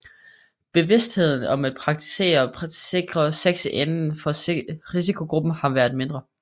Bevidstheden om at praktisere sikrere sex inden for risikogrupperne har været mindre